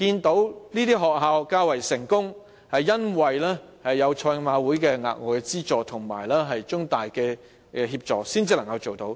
某些學校較為成功，是因為有賽馬會的額外資助及中大的協助才能做到。